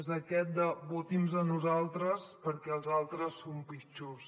és això de voti’ns a nosaltres perquè els altres són pitjors